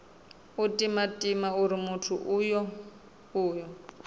u timatima uri muthu uyo